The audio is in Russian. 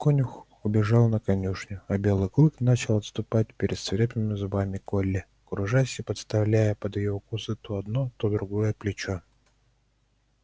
конюх убежал на конюшню а белый клык начал отступать перед свирепыми зубами колли кружась и подставляя под её укусы то одно то другое плечо